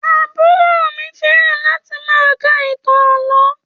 Àbúrò mi fẹ́ràn láti máa ka ìtàn àlọ́